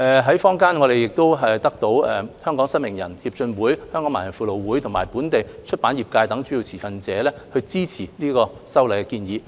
在坊間，我們得到香港失明人協進會、香港盲人輔導會和本地出版業等主要持份者支持這次修例建議。